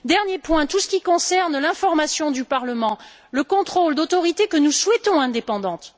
Un dernier point portant sur tout ce qui concerne l'information du Parlement, le contrôle d'autorités que nous souhaitons indépendantes.